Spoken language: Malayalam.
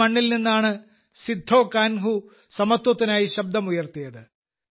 ഈ മണ്ണിൽ നിന്നാണ് സിദ്ധോകാൻഹു സമത്വത്തിനായി ശബ്ദം ഉയർത്തിയത്